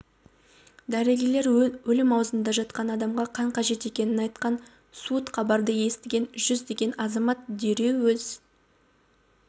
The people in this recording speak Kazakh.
дәрігерлер өлім аузында жатқан адамға қан қажет екенін айтқан суыт хабарды естіген жүздеген азамат дереу өз